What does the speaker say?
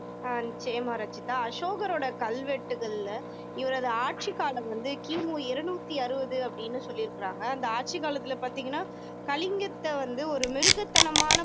ஆஹ் நிச்சயம ரச்சிதா அசோகரோட கல்வெட்டுகளில இவரது ஆட்சி காலம் வந்து கி மு இருநூத்தி அறுவது அப்படின்னு சொல்லியிருக்காங்க அந்த ஆட்சி காலத்துல பாத்தீங்கன்னா கலிங்கத்தை வந்து ஒரு மிருகத்தனமான